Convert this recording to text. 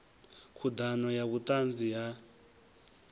khud ano ya vhutanzi ha